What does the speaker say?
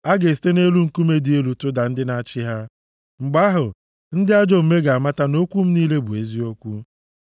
A ga-esite nʼelu nkume dị elu tụda ndị na-achị ha, mgbe ahụ, ndị ajọ omume ga-amata na okwu m niile bụ eziokwu.